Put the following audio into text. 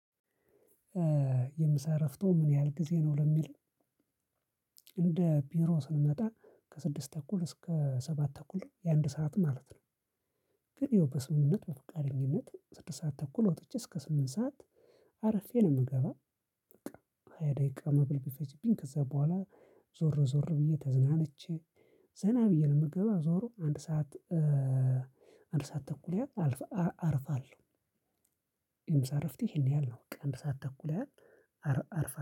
የምሳ እረፍቶ ምን ያህል ጊዜ ነው ለሚል? እንደ ቢሮ ስንመጣ ከስድስት ተኩል እስከ ሰባት ተኩል የአንድ ሰዓት ማለት ነው። ግን ይኸው በስምምነት በፍቃደኝነት ስድስት ሰዓት ተኩል ወጥቼ እስከ ስምንት ሰዓት አርፌ ነው የምገባው። በቃ ሃያ ደቂቃ መብል ቢፈጅብኝ ከዛ በኋላ ዞር ዞር ብዬ ተዝናነቼ ዘና ብዬ ነው የምገባ ዞሮ አንድ ሰዓት አንድ ሰዓት ተኩል ያህል አርፋለሁ። የምሳ እረፍቴ ይሄን ያህል ነው በቃ አንድ ሰዓት ተኩል ያህል አርፋለሁ